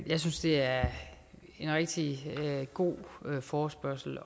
jeg synes det er en rigtig god forespørgsel